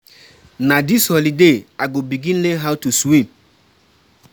Na dis holiday I go begin learn how to swim.